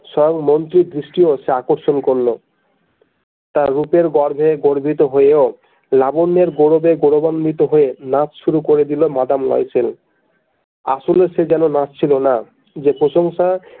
সব মন্ত্রীর দৃষ্টিও সে আকর্ষণ করলো তার রূপের গর্বে গর্বিত হয়েও লাবন্নের গৌরবে গৌরবান্বিত হয়ে নাচ শুরু করে দিল মাদাম লয়সেল আসলে সে যেন নাচ্ছিলোনা যে প্রশংসা।